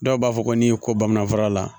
Dɔw b'a fɔ ko n'i ye ko bamanan fura la